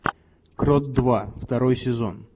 крот два второй сезон